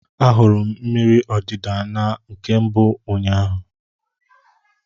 Ahụrụ m mmiri odida na nke mbụ ụnyaahụ.